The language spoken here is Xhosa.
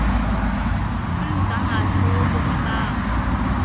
umgangatho wobomi babo